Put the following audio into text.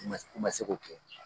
U man se u man se k'o kɛ.